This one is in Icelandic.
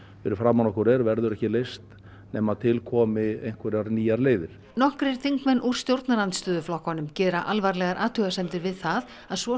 fyrir framan okkur er verður ekki leyst nema til komi einhverjar nýjar leiðir nokkrir þingmenn úr stjórnarandstöðuflokkum gera alvarlegar athugasemdir við það að svo